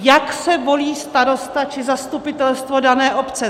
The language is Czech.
Jak se volí starosta či zastupitelstvo dané obce?